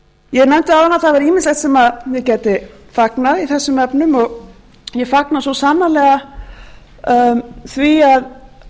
ég nefndi áðan að það væri ýmislegt sem ég gæti fagnað í þessum efnum og ég fagna svo sannarlega því að um